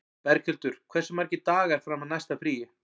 Berghildur, hversu margir dagar fram að næsta fríi?